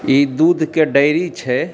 इ दूध के डेयरी छै।